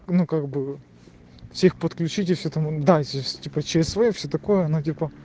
ну как бы всех подключить и все там дальше типа чсв все такое ну типа